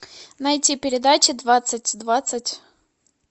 найти передача двадцать двадцать